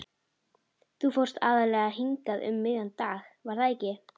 Þú fórst aðallega hingað um miðjan dag, var það ekki?